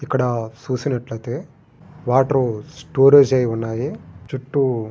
ఇక్కడ చూసినట్లయితే water storage అయ్యి ఉన్నది.చుట్టూ--